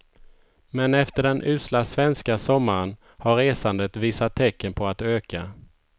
Men efter den usla svenska sommaren har resandet visat tecken på att öka.